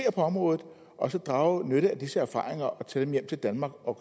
området og så drage nytte af disse erfaringer og tage dem hjem til danmark og